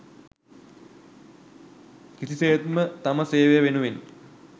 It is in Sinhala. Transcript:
කිසිසේත්ම තම සේවය වෙනුවෙන්